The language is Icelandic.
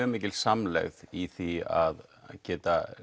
er mikil samlegð í því að geta